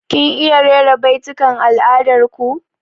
Kin iya rera baitukan al'adar ku?